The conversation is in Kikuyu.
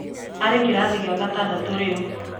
Arĩ kĩrathi gĩa gatandatũ rĩu.